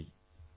നന്ദി